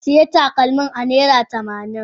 Zan siya takalmin a naira tamanin.